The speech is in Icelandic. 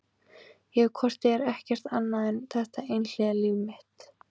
Ég hef hvort eð er ekkert annað en þetta einhliða líf mitt.